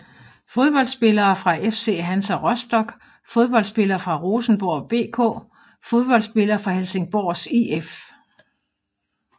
Fodboldspillere fra FC Hansa Rostock Fodboldspillere fra Rosenborg BK Fodboldspillere fra Helsingborgs IF